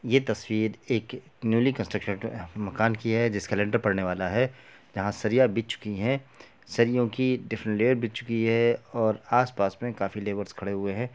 ये तस्वीर एक न्यूली कंस्ट्रक्शन मकान की है। जिसका लिन्टर पड़ने वाला है। जहां सरिया बिछ चुकी है। सरियों की डिफरेंट लेयर बिछ चुकी है और आस-पास में काफी लेबर्स खड़े हुए हैं।